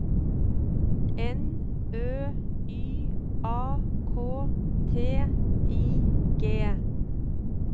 N Ø Y A K T I G